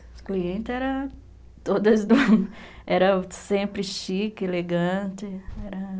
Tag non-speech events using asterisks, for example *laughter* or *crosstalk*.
Os clientes eram todas, *unintelligible* *laughs* eram sempre chiques, elegantes.